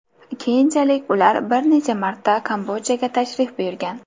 Keyinchalik ular bir necha marta Kambodjaga tashrif buyurgan.